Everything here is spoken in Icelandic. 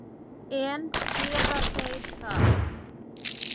En gera þeir það?